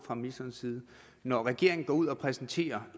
fra ministerens side når regeringen går ud og præsenterer